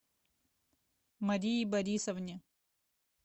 марии борисовне